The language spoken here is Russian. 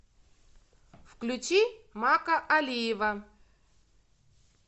включи макка алиева